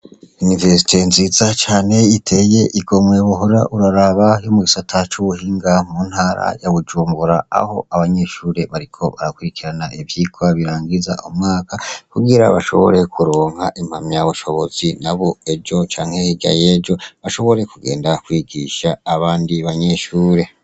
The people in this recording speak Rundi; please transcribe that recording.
Université nziza cane uhora uraraba iteye igomwe yo mugisata cubuhinga muntara ya bujumbura aho abanyeshure bariko barakwirikira ivyirwa birangiza umwaka kugira bashobore kuronka impamya bushobozi nabo ejo canke hirya yejo bashobore kugenda kwigisha abandi banyeshure